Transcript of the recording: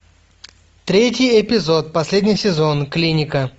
третий эпизод последний сезон клиника